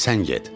Sən get.